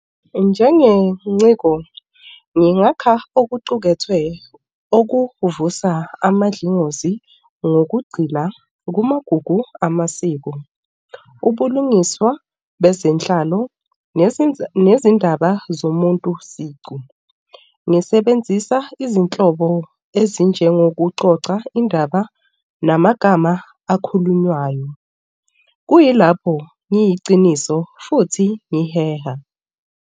Njengenciko ngingakha okuqukethwe okuvusa amadlingozi ngokugxila kumagugu amasiko. Ubulungiswa bezenhlalo nezindaba zomuntu siqu. Ngisebenzisa izinhlobo ezinjengokuxoxa indaba namagama akhulunywayo. Kuyilapho ngiyiciniso futhi ngiheha.